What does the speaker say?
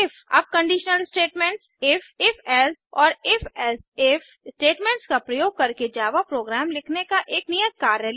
अब conditional statements if if else और if else if statements का प्रयोग करके जावा प्रोग्राम लिखने का एक नियत कार्य लें